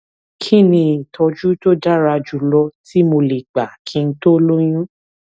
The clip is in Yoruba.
kí ni ìtójú tó dára jù lọ tí mo lè gbà kí n tó lóyún